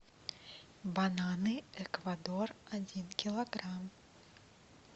бананы эквадор один килограмм